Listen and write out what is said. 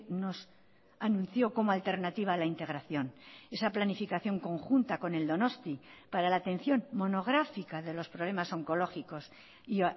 nos anunció como alternativa a la integración esa planificación conjunta con el donosti para la atención monográfica de los problemas oncológicos y